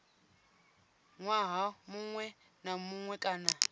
ṅwaha muṅwe na muṅwe kana